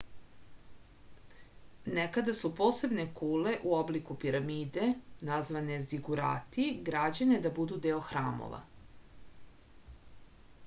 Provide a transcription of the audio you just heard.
nekada su posebne kule u obliku piramide nazvane zigurati građene da budu deo hramova